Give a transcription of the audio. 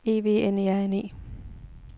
E V N E R N E